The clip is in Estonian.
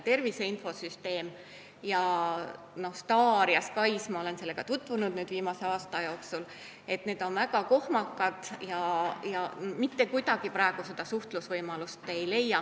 Tervise infosüsteem, STAR ja SKAIS – ma olen nendega tutvunud viimase aasta jooksul – on väga kohmakad ja mitte kuidagi praegu omavahelist suhtlusvõimalust ei leia.